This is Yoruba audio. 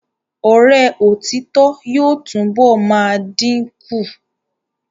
Ọ̀rẹ́ òtítọ́ yóò túnbọ̀ máa dìn kù.